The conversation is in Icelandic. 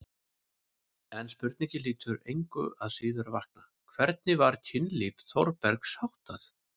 En spurningin hlýtur engu að síður að vakna: hvernig var kynlífi Þórbergs háttað?